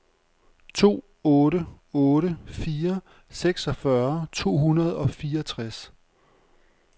to otte otte fire seksogfyrre to hundrede og fireogtres